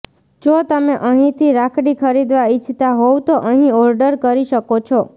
જો તમે અહીંથી રાખડી ખરીદવા ઈચ્છતા હોવ તો અહીં ઓર્ડર કરી શકો છો